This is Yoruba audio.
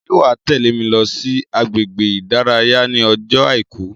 Ṣé wàá tẹ́lè mi lọ sí agbègbè ìdárayá ní ọjọ́ àìkú